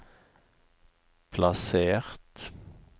plassert